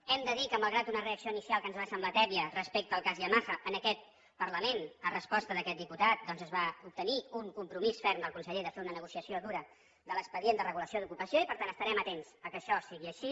hem de dir que malgrat una reacció inicial que ens va semblar tèbia respecte al cas yamaha en aquest parlament a resposta d’aquest diputat doncs es va obtenir un compromís ferm del conseller de fer una negociació dura de l’expedient de regulació d’ocupació i per tant estarem atents que això sigui així